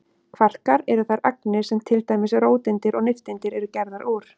Kvarkar eru þær agnir sem til dæmis róteindir og nifteindir eru gerðar úr.